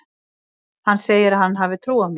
Hann segir að hann hafi trú á mér.